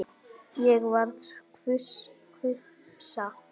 Ég varð hvumsa.